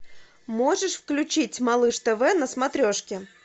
можешь включить малыш тв на смотрешке